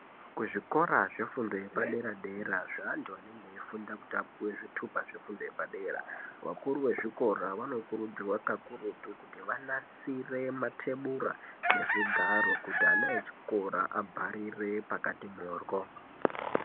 Kuzvikora zvefundo yepadera-dera zveantu anenge eifunda kuti apuwe zvitupa zvefundo yepadera , vakuru vezvikora vanokurudzirwa kakurutu kuti vanasire matebura nezvigaro kuti ana echikora agarire pakati moryo.